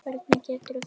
Hvernig gerirðu þetta?